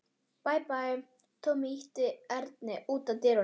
Bæ, bæ, Tommi ýtti Erni í átt að útidyrunum.